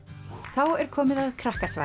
þá er komið að